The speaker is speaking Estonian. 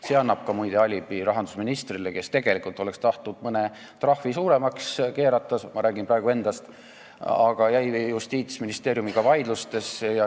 See annab muide ka alibi rahandusministrile, kes tegelikult oleks tahtnud mõne trahvi suuremaks keerata – ma räägin praegu endast –, aga sattus Justiitsministeeriumiga vaidlustesse.